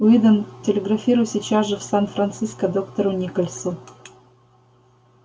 уидон телеграфируй сейчас же в сан франциско доктору никольсу